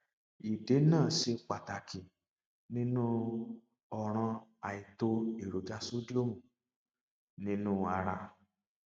ìdènà ṣe pàtàkì nínú um ọràn àìtó èròjà sodium nínú ara